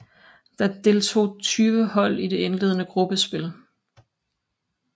Der deltog tyve hold i det indledende gruppespil